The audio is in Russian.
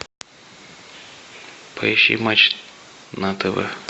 поищи матч на тв